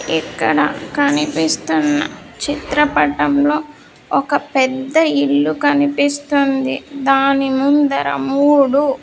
ఇక్కడ కనిపిస్తున్న చిత్రపటంలో ఒక పెద్ద ఇల్లు కనిపిస్తుంది దాని ముంద మూడు.